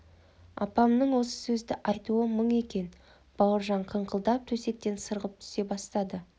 апамның осы сөзді айтуы мұң екен бауыржан қыңқылдап төсектен сырғып түсе бастады